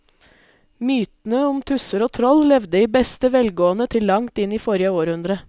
Mytene om tusser og troll levde i beste velgående til langt inn i forrige århundre.